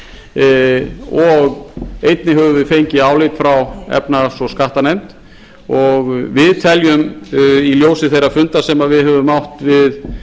borist og einnig höfum við fengið álit frá efnahags og skattanefnd og við teljum í ljósi þeirra funda sem við höfum átt við